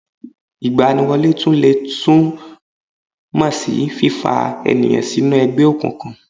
Ìgbaniwọlé tún lè tún mó sí fífa ènìyàn sínú ẹgbẹ́ òkùnkùn